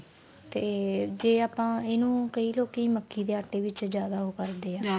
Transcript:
ਤੇ ਜੇ ਆਪਾਂ ਇਨੂੰ ਕਈ ਲੋਕੀ ਮੱਕੀ ਦੇ ਆਟੇ ਵਿੱਚ ਜਿਆਦਾ ਓ ਕਰਦੇ ਏ